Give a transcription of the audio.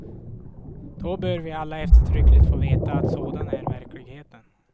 Då bör vi alla eftertryckligt få veta att sådan är verkligheten.